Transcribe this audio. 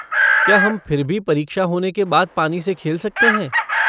क्या हम फिर भी परीक्षा होने के बाद पानी से खेल सकते हैं?